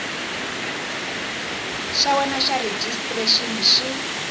xa wena xa rejistrexini xi